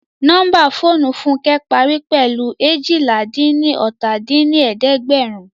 Nọ́mbà fóònù Fúnkẹ́ parí pẹ̀lú eéjìlá-dín-ní-ọ́ta dín ní ẹ̀ẹ́dẹ́gbẹ́run